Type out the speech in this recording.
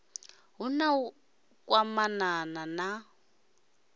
hu na u kwamana na